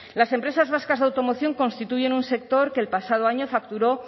las empresas vascas de automoción constituyen un sector que el pasado año facturó